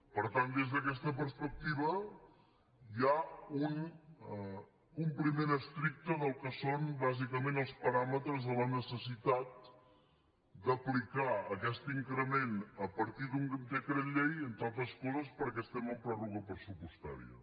per tant des d’aquesta perspectiva hi ha un compliment estricte del que són bàsicament els paràmetres de la necessitat d’aplicar aquest increment a partir d’un decret llei entre altres coses perquè estem en pròrroga pressupostària